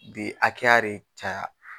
Bi akɛya de caya.